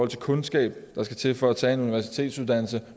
de kundskaber der skal til for at tage en universitetsuddannelse